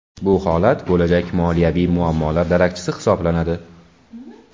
Bu holat bo‘lajak moliyaviy muammolar darakchisi hisoblanadi.